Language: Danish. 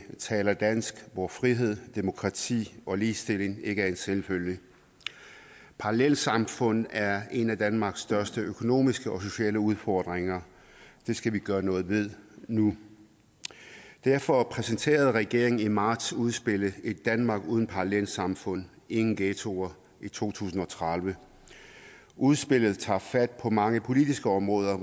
taler dansk og hvor frihed og demokrati og ligestilling ikke er en selvfølge parallelsamfund er en af danmarks største økonomiske og sociale udfordringer det skal vi gøre noget ved nu derfor præsenterede regeringen i marts udspillet èt danmark uden parallelsamfund ingen ghettoer i to tusind og tredive udspillet tager fat på mange politiske områder